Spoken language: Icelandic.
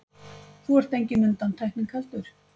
Þú ert engin undantekning heldur.